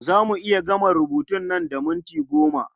Za mu iya gama rubutun nan da minti goma.